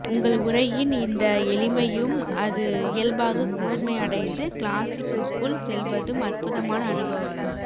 உங்கள் உரையின் இந்த எளிமையும் அது இயல்பாக கூர்மை அடைந்து கிளாஸிக்குக்குள் செல்வதும் அற்புதமான அனுபவங்கள்